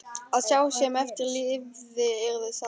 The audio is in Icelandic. Að sá sem eftir lifði yrði sár.